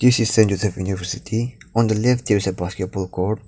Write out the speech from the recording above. this is a university on the left there is a basket ball court.